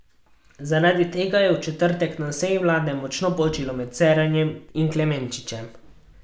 Zaradi tega je v četrtek na seji vlade močno počilo med Cerarjem in Klemenčičem.